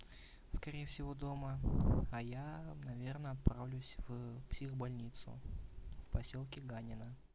скорее всего дома а я наверное отправлюсь в психбольницу в посёлке ганино